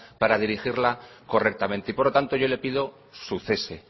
para dirigirla correctamente y por lo tanto yo le pido su cese